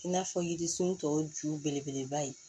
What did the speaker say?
I n'a fɔ yirisun tɔ ju belebeleba ye